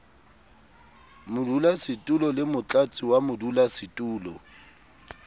modulasetulo le motlatsi wa modulasetulo